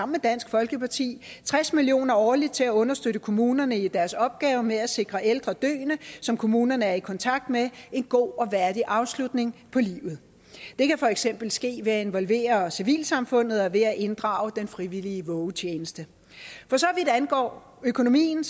med dansk folkeparti tres million kroner årligt til at understøtte kommunerne i deres opgave med at sikre ældre døende som kommunerne er i kontakt med en god og værdig afslutning på livet det kan for eksempel ske ved at involvere civilsamfundet og ved at inddrage den frivillige vågetjeneste for så vidt angår økonomien